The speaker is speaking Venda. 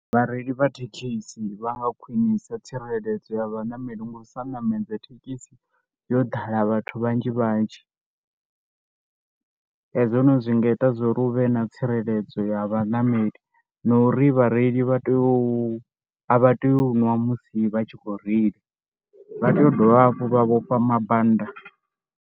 Vhareili vha thekhisi vha nga khwinisa tsireledzo ya vhaṋameli nga u sa ṋamedza thekhisi yo ḓala vhathu vhanzhi vhanzhi. He zwino zwi nga ita zwo ri hu vhe na tsireledzo ya vhaṋameli na uri vhareili vha tea u, a vha tea u ṅwa musi vha tshi khou reila. Vha tea u dovha hafhu vha vhofha mambanda.